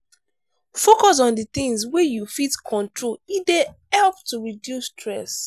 focus on di things wey you fit control e dey help to reduce stress